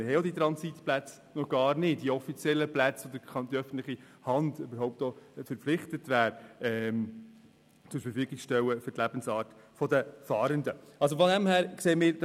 Wir haben die Transitplätze, die offiziellen Plätze, nämlich noch gar nicht, welche für die Lebensweise der Fahrenden anzubieten die öffentliche Hand verpflichtet wäre.